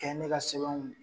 Kɛ ne ka sɛbɛnw